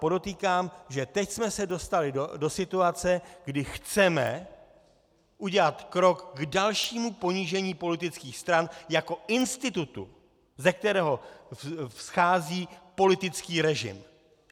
Podotýkám, že teď jsme se dostali do situace, kdy chceme udělat krok k dalšímu ponížení politických stran jako institutu, ze kterého vzchází politický režim.